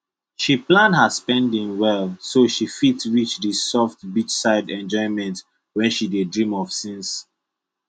she plan her spending well so she fit reach that soft beachside enjoyment wey she dey dream of since